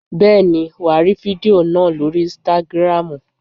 Bẹ́ẹ̀ni wàá rí fídíò náà lóri ínstágrámù.